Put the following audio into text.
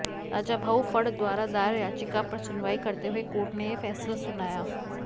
राजाभाऊ फड द्वारा दायर याचिका पर सुनवाई करते हुए कोर्ट ने यह फैसला सुनाया